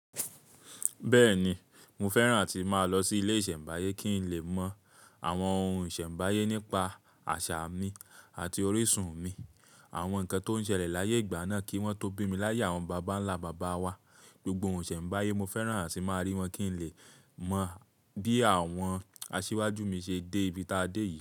Bẹ́ẹ̀ni, mo fẹ́ràn àti máa lọ sí ilé ìsẹ̀mbáyé kí n lè mọ àwọn ohun ìsẹ̀mbáyé nípa àṣà mi àti orísun mi, àwọn nǹkan tó ń ṣẹlẹ̀ láyé ìgbà náà kí wọ́n tó bí mi láyé àwọn bàbá ńlá bàbá wa. Gbogbo ohun ìsẹ̀mbáyé, mo fẹ́ràn àti máa rí wọn kí n lè mọ bí àwọn asíwájú mi ṣe dé ibi táa dé yìí.